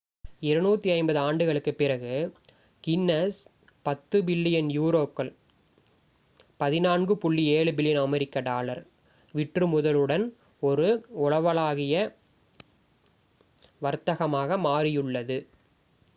250 ஆண்டுகளுக்குப் பிறகு Guinness 10 billion யூரோக்கள் 14.7 பில்லியன் அமெரிக்க டாலர் விற்றுமுதலுடன் ஒரு உலகளாவிய வர்த்தகமாக மாறியுள்ளது